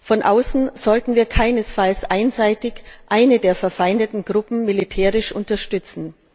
Von außen sollten wir keinesfalls einseitig eine der verfeindeten Gruppen militärisch unterstützen.